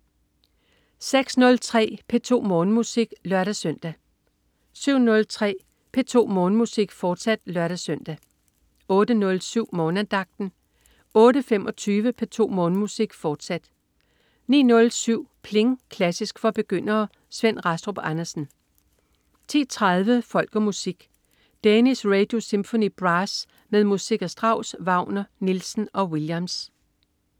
06.03 P2 Morgenmusik (lør-søn) 07.03 P2 Morgenmusik, fortsat (lør-søn) 08.07 Morgenandagten 08.25 P2 Morgenmusik, fortsat 09.07 Pling! Klassisk for begyndere. Svend Rastrup Andersen 10.30 Folk og Musik. Danish Radio Symphony Brass med musik af Strauss, Wagner, Nielsen og Williams